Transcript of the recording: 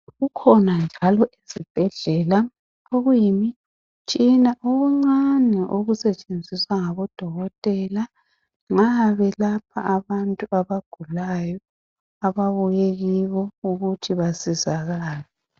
Kukhona njalo ezibhedlela okuyimitshina okuncane okusetshenziswa ngabodokotela nxa belapha abantu abgulayo ababuye kibo ukuthi basizakale.